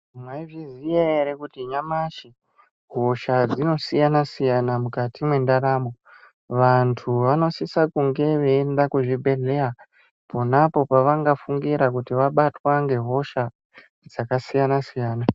Mwaizviya ere kuti nyamashi hosha dzinosiyana siyana mukati mwendaramo vantu vanosisa kunge veienda kuzvibhedhlera ponapo pavangafunsira kuti vabatwa ngehosha dzakasiyana siyana.